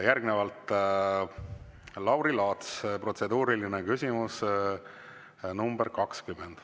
Järgnevalt Lauri Laats, protseduuriline küsimus nr 20.